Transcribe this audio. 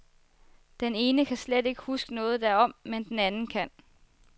Den ene kan slet ikke huske noget derom, men den anden kan.